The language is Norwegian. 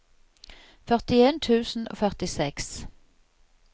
førtien tusen og førtiseks